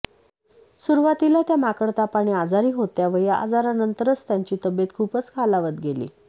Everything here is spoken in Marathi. सुरुवातीला त्या माकडतापाने आजारी होत्या व या आजारानंतरच त्यांची तब्येत खूपच खालावत गेली